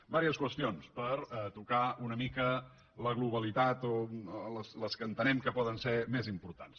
diverses qüestions per tocar una mica la globalitat o les que entenem que poden ser més importants